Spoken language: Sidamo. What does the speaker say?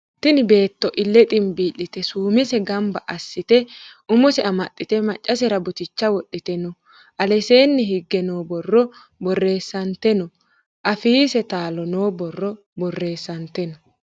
tini beeto iile xinbi'lite suumese ganba asite. uumose ammaxite. macasera buuticha wodhite noo. allesenni hige borro boresante noo. affise taalo noo borro boresante noo.